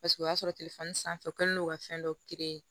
Paseke o y'a sɔrɔ sanfɛ u kɛlen don ka fɛn dɔ